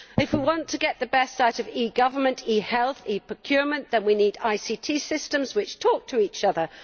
If we want to get the best out of e government, e health and e procurement, we need ICT systems which talk to each other.